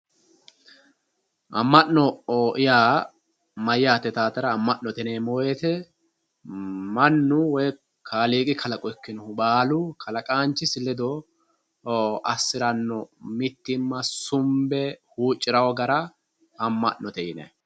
Ama'no yaa mayyate yitatera ama'no ise mannu woyi kaaliiqi kalaqo baallu kalaqanchisi ledo assirano mittimma sumbe huuccirano gara ama'note yinanni.